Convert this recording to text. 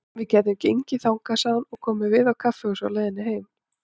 Við gætum gengið þangað, sagði hún, og komið við á kaffihúsi á leiðinni heim.